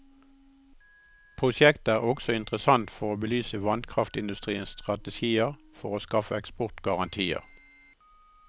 Prosjektet er også interessant for å belyse vannkraftindustriens strategier for å skaffe eksportgarantier.